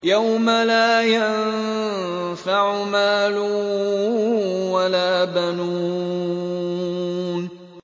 يَوْمَ لَا يَنفَعُ مَالٌ وَلَا بَنُونَ